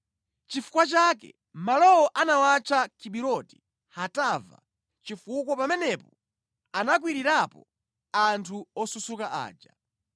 Nʼchifukwa chake malowo anawatcha Kibiroti Hatava chifukwa pamenepo anakwirirapo anthu osusuka aja.